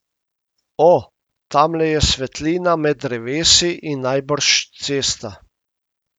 O, tamle je svetlina med drevesi in najbrž cesta.